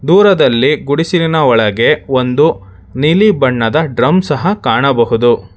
ದೂರದಲ್ಲಿ ಗುಡಿಸಿಲಿನ ಒಳಗೆ ಒಂದು ನೀಲಿ ಬಣ್ಣದ ಡ್ರಮ್ ಸಹ ಕಾಣಬಹುದು.